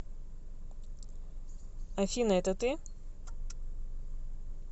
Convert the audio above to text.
афина это ты